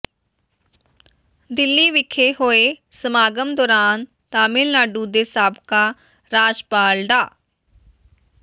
ਦਿੱਲੀ ਵਿਖੇ ਹੋਏ ਸਮਾਗਮ ਦੌਰਾਨ ਤਾਮਿਲਨਾਡੂ ਦੇ ਸਾਬਕਾ ਰਾਜਪਾਲ ਡਾ